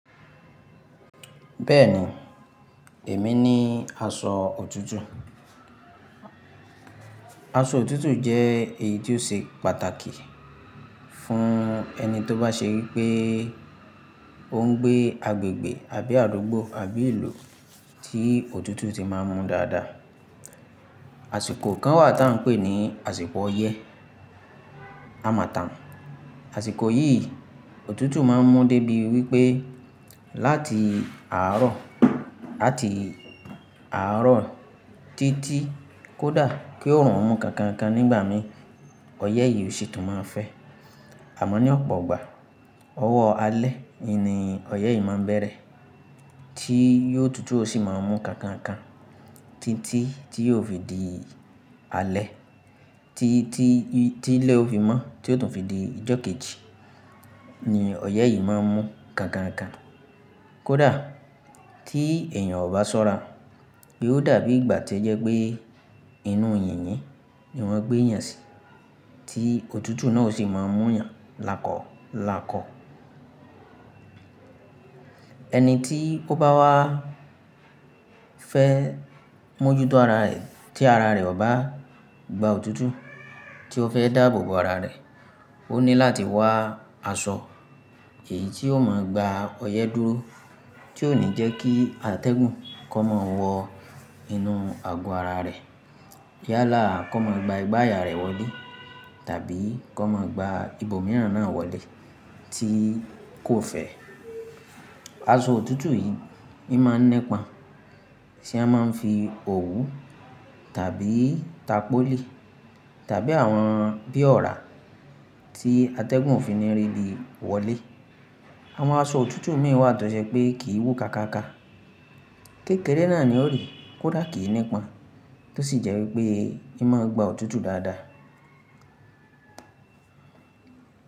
Bẹ́ẹ̀ni, èmi ní aṣọ òtútù. Aṣọ òtútù jẹ́ èyí tó ṣe pàtàkì fún ẹni tó bá ṣe wí pé ó ń gbé agbègbè àbí àdúgbò, àbí ìlú tí òtútù ti máa ń mú dáadáa. Àsìkò kan wà tí à ń pè ní àsìkò ọyẹ́ harmatan. Àsìkò yìí òtútù máa ń mú débi wí pé láti àárọ̀ láti àárọ̀ títí kódà kí òòrùn mú kankan kan nígbà mìí ọyẹ́ yìí ò sì tún máa fẹ́. Àmọ́ ní ọ̀pọ̀ ọgbà, ọwọ́ alẹ́ in ni ọyẹ́ yìí máa bẹ̀rẹ̀ tí yóò òtútù ó sì máa ń mú kankan kan títí tí yóò fi di alẹ́ tí tí tí ilẹ̀ ó fi mọ́ tí ó tún fi di ìjọ́ kejì ni ọyẹ́ yìí máa ń mú kankan kan. Kódà tí èèyàn ò bá ṣọ́ra, bí ó dàbí ìgbà tí ẹ jẹ́ pé inú yìnyín ni wọ́n gbé èèyàn sí, tí òtútù náà ò sì máa ń mú ìyàn lakọ̀ lakọ̀. Ẹni tí ó bá wá fẹ́ mójútó ara rẹ̀ tí ara rẹ̀ ò bá gba òtútù tí ó fẹ́ dáàbò bo ara rẹ̀, ó ní láti wá aṣọ èyí tí ó máa gba ọyẹ́ dúró tí ò ní jẹ́ kí atẹ́gùn kó máa wọ inú àgò ara rẹ̀. Yálà kò máa gba ìgbà ayà rẹ̀ wọlé tàbí kó máa gba ibòmíràn náà wọlé tí kò fẹ́. Aṣọ òtútù yìí i máa nipan Ti won máa ń fi òwú tàbí tapoli tàbí àwọn bí ọ̀rá tí atẹ́gùn òfin ni rí bí wọlé. Àwọn aṣọ òtútù mìíràn wà tó jẹ́ pé kì í wú ká káká. Kékère náà ni ó ri kódà kì í nípọn tó sì jẹ́ wí pé ì máa ń gba òtútù dáadáa.